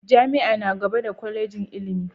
Jami'a na gaba da Kwallejin ilimi.